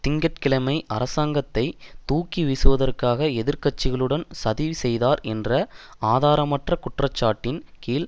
திங்க கிழமை அர்சாங்கத்தை தூக்கிவீசுவதற்காக எதிர் கட்சிகளுடன் சதி செய்தார் என்ற ஆதாரமற்ற குற்றச்சாட்டின் கீழ்